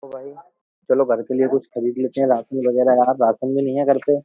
चलो घर के लिए कुछ खरीद लेते हैं राशन वगैरह यार राशन भी नहीं है घर पे --